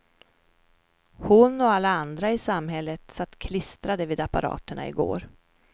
Hon och alla andra i samhället satt klistrade vid apparaterna i går.